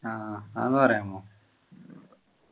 ആഹ് അതൊന്നു പറയാമോ